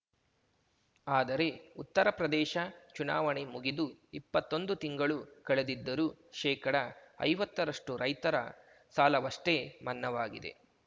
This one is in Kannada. ಆದರೆ ಉತ್ತರಪ್ರದೇಶ ಚುನಾವಣೆ ಮುಗಿದು ಇಪ್ಪತ್ತೊಂದು ತಿಂಗಳು ಕಳೆದಿದ್ದರೂ ಶೇಕಡಐವತ್ತರಷ್ಟುರೈತರ ಸಾಲವಷ್ಟೇ ಮನ್ನವಾಗಿದೆ